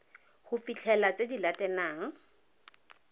go fitlhelela tse di latelang